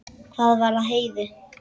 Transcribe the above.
Hvað var að Heiðu?